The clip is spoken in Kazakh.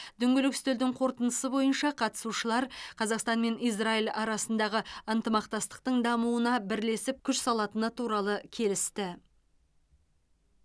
дөңгелек үстелдің қорытындысы бойынша қатысушылар қазақстан мен израиль арасындағы ынтымақтастықтың дамуына бірлесіп күш салатыны туралы келісті